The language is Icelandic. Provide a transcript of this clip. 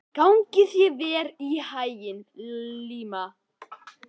Gangi þér allt í haginn, Liam.